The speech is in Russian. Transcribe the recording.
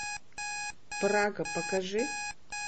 прага покажи